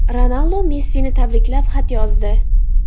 Ronaldu Messini tabriklab xat yozdi.